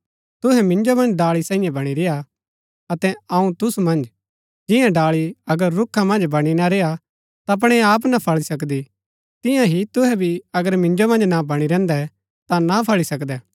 तुहै मिन्जो मन्ज डाळी सांईये बणी रेय्आ अतै अऊँ तुसु मन्ज जिंआं डाळी अगर रूखा मन्ज बणी ना रेय्आ ता अपणै आप ना फळी सकदी तियां ही तुहै भी अगर मिन्जो मन्ज ना बणी रैहन्दै ता ना फळी सकदै